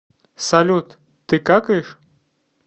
салют ты какаешь